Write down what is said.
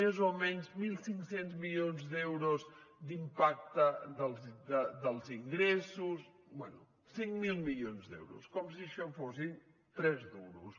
més o menys mil cinc cents milions d’euros d’impacte dels ingressos bé cinc mil milions d’euros com si això fossin tres duros